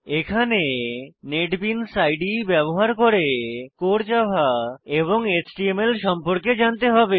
এখানে নেটবিনস ইদে ব্যবহার করে কোর জাভা এবং এচটিএমএল সম্পর্কে জানতে হবে